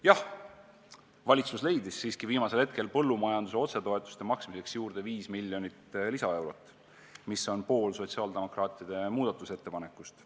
Jah, valitsus leidis siiski viimasel hetkel põllumajanduse otsetoetuste maksmiseks juurde 5 miljonit lisaeurot, mis on pool sotsiaaldemokraatide muudatusettepanekust.